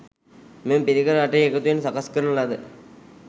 මෙම පිරිකර අටෙහි එකතුවෙන් සකස් කරන ලද